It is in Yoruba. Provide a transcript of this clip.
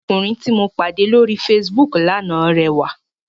Ọmọkùnrin tí mo pàdé lóri Facebook lánàá rẹwà.